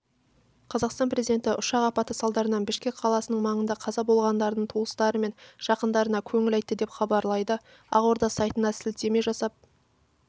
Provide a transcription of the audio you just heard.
қазақстан президенті ұшақ апаты салдарынан бішкек қаласының маңында қаза болғандардың туыстары мен жақындарына көңіл айтты деп хабарлайды ақорда сайытына сілтеме жасап